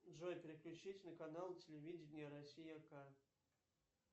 джой переключись на канал телевидения россия к